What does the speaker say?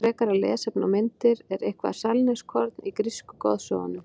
Frekara lesefni og myndir Er eitthvert sannleikskorn í grísku goðsögunum?